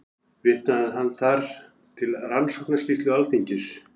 Vitnaði hann þar til Rannsóknarskýrslu Alþingis